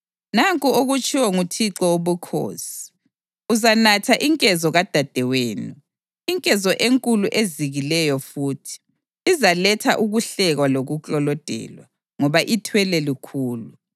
Nanku okutshiwo nguThixo Wobukhosi: Uzanatha inkezo kadadewenu, inkezo enkulu ezikileyo futhi; izaletha ukuhlekwa lokuklolodelwa, ngoba ithwele lukhulu.